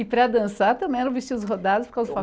E para dançar também era vestir os rodados com os